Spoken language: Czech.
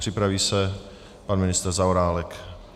Připraví se pan ministr Zaorálek.